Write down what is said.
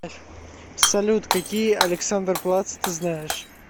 салют какие александерплац ты знаешь